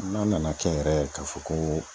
N'a nana kɛ yɛrɛ k'a fɔ ko